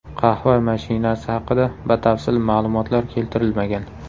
Qahva mashinasi haqida batafsil ma’lumotlar keltirilmagan.